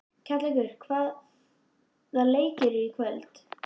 Kjallakur, hvaða leikir eru í kvöld?